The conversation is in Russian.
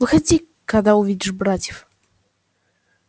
выходи когда увидишь братьев